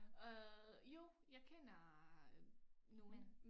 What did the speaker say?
Øh jo jeg kender øh nogle